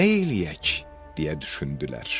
Nə eləyək, deyə düşündülər.